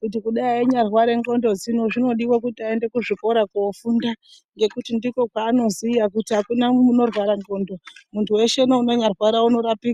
kuti kudai einyarware ndxondo dzino zvinodiwa kuti aende kuzvikora kofunda ngekuti ndikwo kwanoziya Kuti akuna unorwara ndxondo muntu weshe neunonyarwara unorapika.